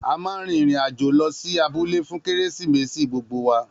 A ma rin ìrìn-àjò lọ sí abúlé fún kérésìmesì gbogbo wa